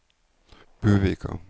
Buvika